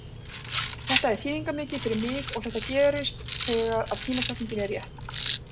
Þetta er þýðingarmikið fyrir mig og þetta gerist þegar að tímasetningin er rétt.